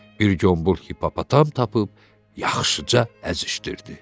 Bir qombol hipopotam tapıb yaxşıca əzişdirdi.